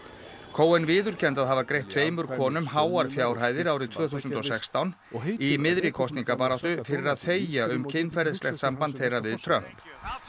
cohen viðurkenndi að hafa greitt tveimur konum háar fjárhæðir árið tvö þúsund og sextán í miðri kosningabaráttu fyrir að þegja um kynferðislegt samband þeirra við Trump